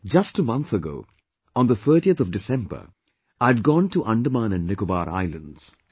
Just a month ago, on the 30th of December, I had gone to Andaman & Nicobar islands